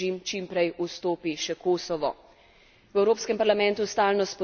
V Evropskem parlamentu stalno spodbujamo evropsko perspektivo zahodnega Balkana.